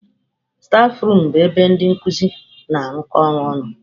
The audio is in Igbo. Stafurum bụ ebe ndị nkuzi na-arụkọ ọrụ ọnụ.